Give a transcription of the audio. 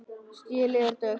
Stélið er dökkt.